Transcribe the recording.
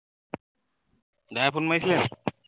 ভায়ে ফোন মাৰিছিলে নি?